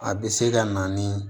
A bɛ se ka na ni